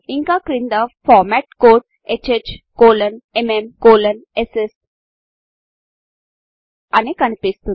ఇంకా క్రింద format code HHMMSS మరియు య్య్ అనికనిపిస్తుంది